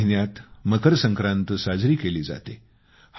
या महिन्यात मकर संक्रांत साजरी केली जाते